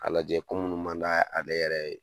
A lajɛ ko munnu man d'ale yɛrɛ ye.